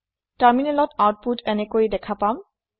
তাৰমিনেলত আউতপোত এনেকে দেখা পাম